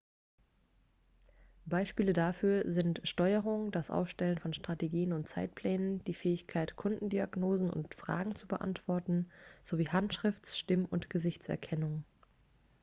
beispiele dafür sind steuerung das aufstellen von strategien und zeitplänen die fähigkeit kundendiagnosen und fragen zu beantworten sowie handschrifts stimm und gesichtserkennung